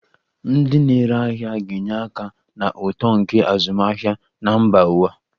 Ndị na-ere ahịa ga-enye aka na uto nke azụmahịa na mba ụwa.